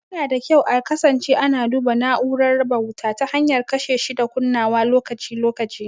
Yana da kyau a kasance ana duba na'urar raba wuta ta hanyar kashe shi da kunnawa lokaci-lokaci.